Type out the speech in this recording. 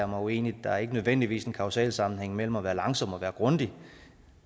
mig uenig der er ikke nødvendigvis en kausal sammenhæng mellem at være langsom og være grundig